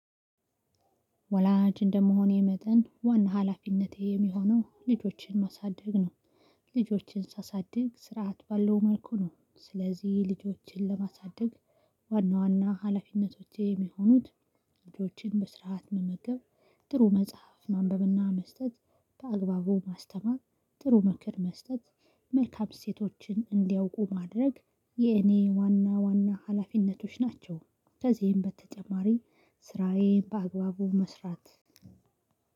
ወላጅ እንደመሆኔ መጠን ዋና ሀላፊነቴ የሚሆነው ልጆችን ማሳደግ ነው። ልጆችን ሳሳድግ ስርዓት ባለው መልኩ ነው። ስለዚህ ልጆችን ለማሳደግ ዋና ዋና ሀላፊነቶቼ የሚሆኑት ልጆችን በስርዓት መመገብ ጥሩ መጽሐፍ ማንበብና መስጠት በአግባቡ ማስተማር ጥሩ ምክር መስጠት መልካም እሴችቶን እንዲያውቁ ማድረግ የኔ ዋና ዋና ሀላፊነቶች ናቸው። ከዚህም በተጨማሪ ስራዬን በአግባቡ መስራት